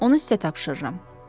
Onu sizə tapşırıram.